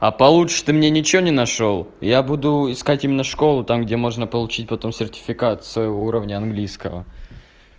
а получше ты мне ничего не нашёл я буду искать именно школу там где можно получить потом сертификацию уровня английского